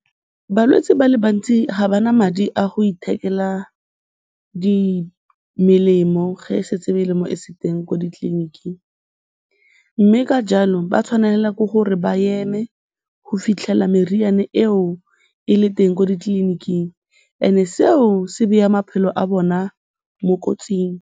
Balwetse ba le bantsi ga ba na madi a go ithekela melemo ge setse melemo e se teng ko ditleliniking mme ka jalo ba tshwanela ke gore ba eme go fitlhela meriane eo e le teng ko ditleliniking and-e seo se beya maphelo a bona mo kotsing.